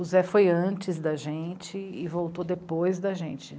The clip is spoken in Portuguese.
O Zé foi antes da gente e voltou depois da gente.